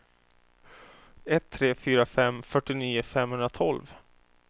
ett tre fyra fem fyrtionio femhundratolv